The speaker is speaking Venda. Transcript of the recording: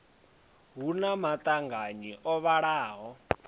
hu na maṱanganyi o vhalaho